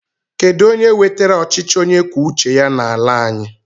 Kedu onye wetara ọchịchị onye kwuo uche ya n'ala anyị?